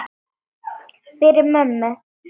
Fyrir mömmu.